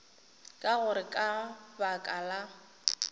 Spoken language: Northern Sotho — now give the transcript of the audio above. ka gore ka baka la